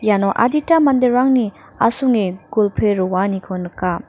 iano adita manderangni asonge golpoe roaniko nika.